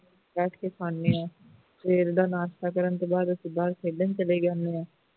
ਬੈਠ ਕੇ ਖਾਨੇ ਆਂ ਸਵੇਰ ਦਾ ਨਾਸਤਾ ਕਰਨ ਤੋਂ ਬਾਅਦ ਅਸੀਂ ਖੇਡਣ ਚਲੇ ਜਾਨੇ ਆਂ